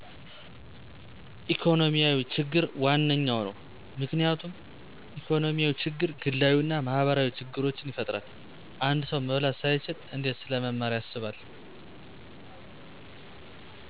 ኢኮኖሚያዊ ችግር ዋነኛው ነው። ምክንያቱም ኢኮኖሚያዊ ችግር ግላዊ አና ማህበራዊ ችግሮችን ይፈጥራል። አንድ ሰው መብላት ሳይችል እንዴት ስለመማር ያስባል።